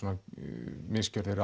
misgjörðir